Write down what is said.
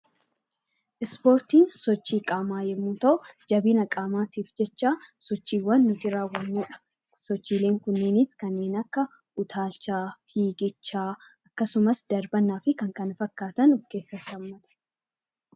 Ispoortiin sochii qaamaa yeroo ta'u, jabina qaamaatiif jecha sochiiwwan nuti raawwannudha. Sochiileen kunneenis kanneen akka utaalchaa, fiigichaa akkasumas darbannaa fi kan kana fakkaatan of keessatti hammata.